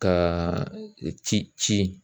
Ka ci ci